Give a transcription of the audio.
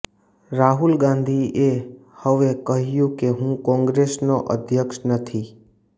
રાહુલ ગાંધીએ હવે કહ્યું કે હું કોંગ્રેસનો અધ્યક્ષ નથી